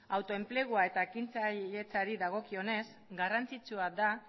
autoenplegua eta ekintzailetzari dagokionez garrantzitsua da